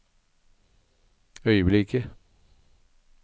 øyeblikket